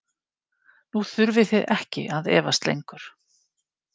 Nú þurfið þið ekki að efast lengur.